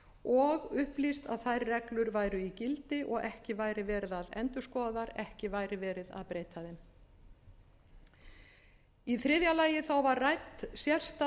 og upplýst að þær reglur væru í gildi og ekki væri verið að endurskoða þær ekki væri verið að breyta þeim í þriðja lagi var rædd sérstaða sparisjóðanna